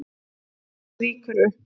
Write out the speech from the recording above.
Hún rýkur upp.